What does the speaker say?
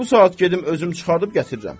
Bu saat gedim özüm çıxardıb gətirirəm.